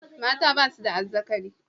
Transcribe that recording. Mata ba su da azzakari.